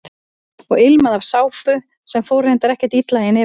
Og ilmaði af sápu sem fór reyndar ekkert illa í nefið á honum.